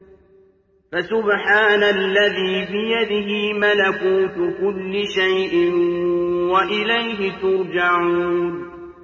فَسُبْحَانَ الَّذِي بِيَدِهِ مَلَكُوتُ كُلِّ شَيْءٍ وَإِلَيْهِ تُرْجَعُونَ